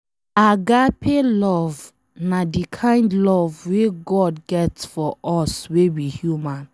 Agape love na de kind love wey God get for us wey be human